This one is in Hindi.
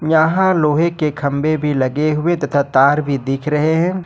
यहां लोहे के खंभे भी लगे हुए तथा तार भी दिख रहे हैं।